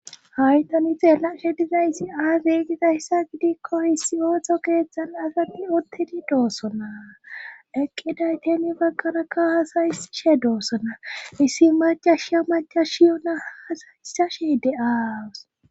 hay tani xeellashe dizayisi aazeygizayssa gidikko issi ooxo geezxzan asadi ottedi doossonaa eqqidaytemi bagqaraka hasaysshe doossona issi macasha macashiyona hasayisashe de7aawus